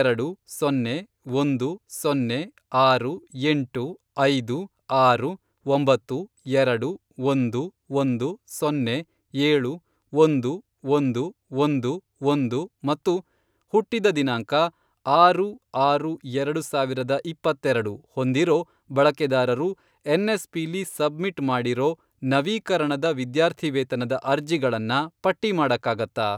ಎರಡು, ಸೊನ್ನೆ, ಒಂದು, ಸೊನ್ನೆ, ಆರು. ಎಂಟು, ಐದು, ಆರು, ಒಂಬತ್ತು, ಎರಡು, ಒಂದು, ಒಂದು, ಸೊನ್ನೆ, ಏಳು, ಒಂದು, ಒಂದು, ಒಂದು, ಒಂದು, ಮತ್ತು ಹುಟ್ಟಿದ ದಿನಾಂಕ, ಆರು, ಆರು, ಎರಡು ಸಾವಿರದ ಇಪ್ಪತ್ತೆರೆಡು, ಹೊಂದಿರೋ ಬಳಕೆದಾರರು ಎನ್ಎಸ್ಪಿಲಿ ಸಬ್ಮಿಟ್ ಮಾಡಿರೋ ನವೀಕರಣದ ವಿದ್ಯಾರ್ಥಿವೇತನದ ಅರ್ಜಿಗಳನ್ನ ಪಟ್ಟಿ ಮಾಡಕ್ಕಾಗತ್ತಾ?